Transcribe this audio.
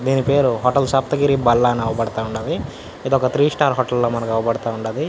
దీని పేరు హోటల్ సప్తగిరి బల్లా అని అవుపడతా వుండది ఇదొక త్రి స్టార్ హోటల్ లా మనకి అవుపడతా వుండది.